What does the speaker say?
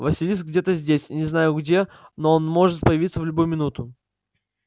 василиск где-то здесь не знаю где но он может появиться в любую минуту